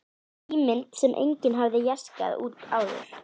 Ímynd sem enginn hafði jaskað út áður.